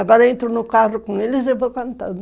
Agora entro no carro com eles e vou cantando.